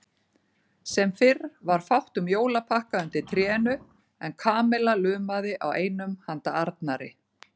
Sem fyrr var fátt um jólapakka undir trénu en Kamilla lumaði á einum handa Arnari.